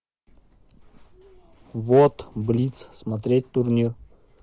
вот блиц смотреть турнир